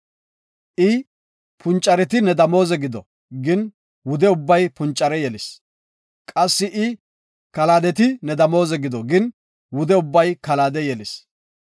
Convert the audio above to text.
I, ‘Puncareti ne damooze gido’ gin wude ubbay puncare yelis. Qassi I, ‘Kalaadeti ne damooze gido’ gin wude ubbay kalaade yelis.